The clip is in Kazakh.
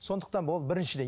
сондықтан бұл біріншіден